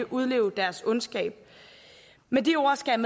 udleve deres ondskab med de ord skal